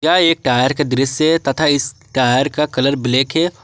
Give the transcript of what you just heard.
यह एक टायर का दृश्य तथा इस टायर का कलर ब्लैक है।